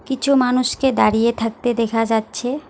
কিছু মানুষকে দাঁড়িয়ে থাকতে দেখা যাচ্ছে।